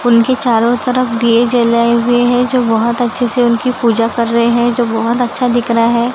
पुल के चारों तरफ दिए जलाए हुए हैं जो बहुत अच्छे से उनकी पूजा कर रहे हैं जो बहुत अच्छा दिख रहा है।